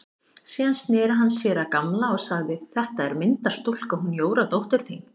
Síðan sneri hann sér að Gamla og sagði: Þetta er myndarstúlka, hún Jóra dóttir þín.